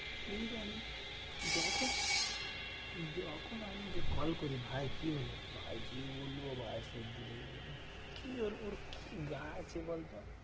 কে জানে? যখন যখন আমি কল করি ভাই কি হলো? ভাই কি বলবো ভাই সর্দি লেগে গেছে। কি ওর ওর কি গা আছে বলতো?